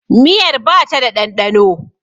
Miyar ba ta da ɗanɗano.